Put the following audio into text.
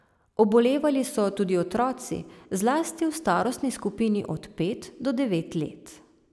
Obolevali so tudi otroci, zlasti v starostni skupini od pet do devet let.